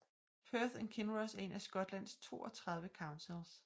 Perth and Kinross er en af Skotlands 32 councils